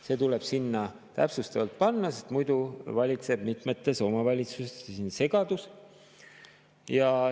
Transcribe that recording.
See tuleb sinna täpsustavalt juurde panna, sest muidu valitseb mitmetes omavalitsustes segadus.